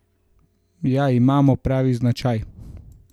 Ja, imamo pravi značaj.